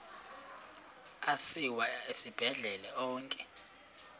asiwa esibhedlele onke